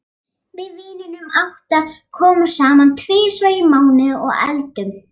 Við vinirnir átta komum saman tvisvar í mánuði og eldum.